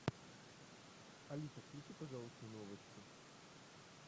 алиса включи пожалуйста новости